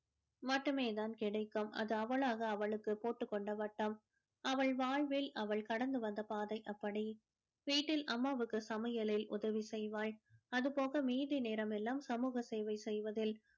மட்டுமே தான் கிடைக்கும் அது அவளாக அவளுக்கு போட்டு கொண்ட வட்டம் அவள் வாழ்வில் அவள் கடந்து வந்த பாதை அப்படி வீட்டில் அம்மாவுக்கு சமையலில் உதவி செய்வாள் அது போக மீதி நேரம் எல்லாம் சமூக சேவை செய்வதில்